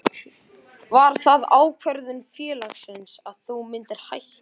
Var það ákvörðun félagsins að þú myndir hætta?